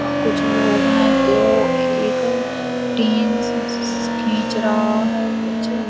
कुछ लोग है जो एक टीन शश खींच रहा है कुछ --